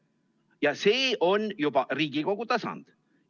Ja see on juba Riigikogu tasand.